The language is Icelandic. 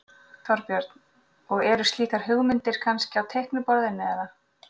Þorbjörn: Og eru slíkar hugmyndir kannski á teikniborðinu eða?